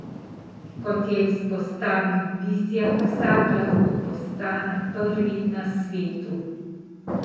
Kot je izpostavil Vizjak, vsak lahko postane prvi na svetu.